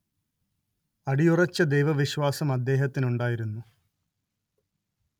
അടിയുറച്ച ദൈവവിശ്വാസം അദ്ദേഹത്തിനുണ്ടായിരുന്നു